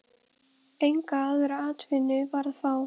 Enga aðra atvinnu var að fá.